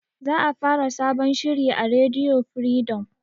Za a fara sabon shiri a rediyo firidom